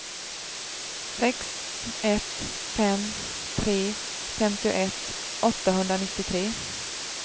sex ett fem tre femtioett åttahundranittiotre